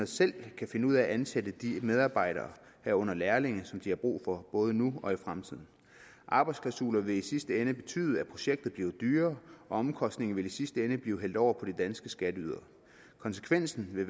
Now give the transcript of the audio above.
selv kan finde ud af at ansætte de medarbejdere herunder lærlinge som de har brug for både nu og i fremtiden arbejdsklausuler vil i sidste ende betyde at projektet bliver dyrere og omkostningerne vil i sidste ende blive hældt over på de danske skatteydere konsekvensen vil